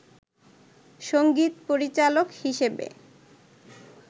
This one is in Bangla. সংগীত পরিচালক হিসেবে